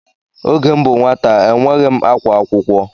Oge m bụ nwata enweghị akwa akwụkwọ.